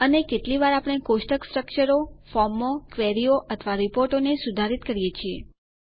અને કેટલી વાર આપણે કોષ્ટક સ્ટ્રકચરો ફોર્મો ક્વેરીઓ અથવા રીપોર્ટોને સુધારિત કરીએ છીએ